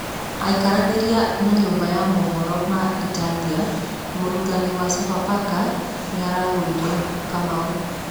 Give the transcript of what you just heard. Akĩaranĩria na nyũmba ya maũhoro ma Italia, Mũrutani wa Sofapaka nĩaraugire, Kamau.